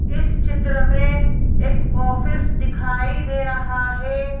इस चित्र में एक ऑफिस दिखाई दे रहा है।